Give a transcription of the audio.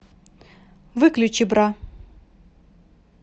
выключи бра